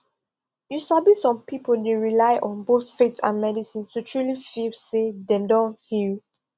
you sabi some people dey rely on both faith and medicine to truly feel say dem don heal